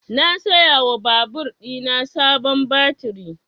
Na saya wa babur ɗina sabon baturi